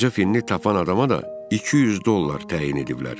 Qoca Finn tap an adama da 200 dollar təyin eləyiblər.